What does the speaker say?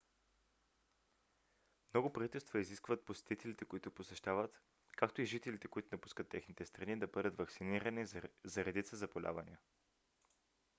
много правителства изискват посетителите които посещават както и жителите които напускат техните страни да бъдат ваксинирани за редица заболявания